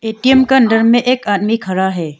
ATM का अंदर में एक आदमी खड़ा है।